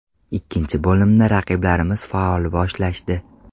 Ikkinchi bo‘limni raqiblarimiz faol boshlashdi.